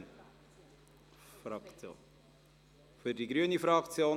– Sie spricht für die Fraktion;